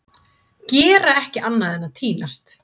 Gera ekki annað en að týnast!